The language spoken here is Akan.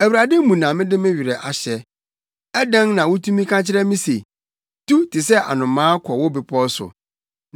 Awurade mu na mede me werɛ ahyɛ. Adɛn na wutumi ka kyerɛ me se, “Tu te sɛ anomaa kɔ wo bepɔw so.